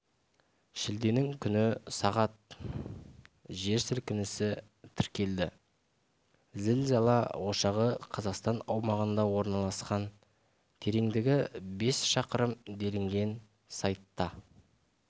шілденің күні сағат жер сілкінісі тіркелді зілзала ошағы қазақстан аумағында орналасқан тереңдігі бес шақырым делінген сайтта